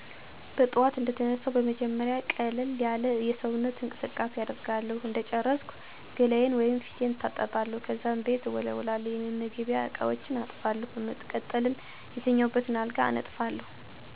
በጥዋቱ እንደተነሳሁ በመጀመሪያ ቀለል ያለ የሰውነት እንቅስቃሴ አደርጋለሁ እንደጨረስኩ ገላየን/ፊቴን እታጠባለሁ፣ ከዛም ቤት እወለዉላለሁ፣ የመመገቢያ እቃዎችን አጥባለሁ፣ በመቀጠልም የተኛሁበትን አልጋ አነጥፋለሁ። ከዛም ፀሎት ካደረግኩ በኃላ ቁርስ እሰራለሁ ከዛም ቁርስ ከበላን በኋላ ልጀን ትምህርት ቤት ልኬ ወደ ሌሎች የቤት ውስጥ ስራወች እገባለሁ።